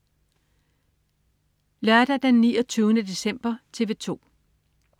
Lørdag den 29. december - TV 2: